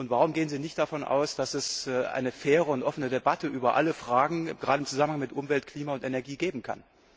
Und warum gehen Sie nicht davon aus, dass es eine faire und offene Debatte über alle Fragen gerade im Zusammenhang mit Umwelt, Klima und Energie geben kann?